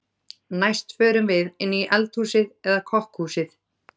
Næst förum við inn í eldhúsið eða kokkhúsið.